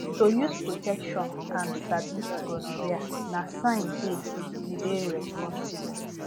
to use protection and sabi gonorrhea na sign day you dey responsible